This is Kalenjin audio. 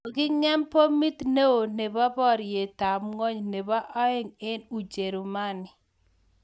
Koging'em bomiit neoo nebo baryet ab ngwony nebo aeng eng ucherumani